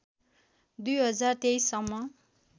०२३ सम्म